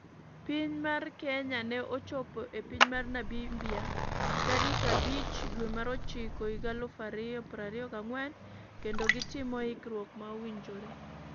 Piny mar Kenya ne ochopo e piny mar Namibia tarik 05/09/2024 kendo gi timo ikruok ma owinjore.